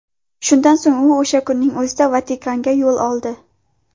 Shundan so‘ng u o‘sha kunning o‘zida Vatikanga yo‘l oldi.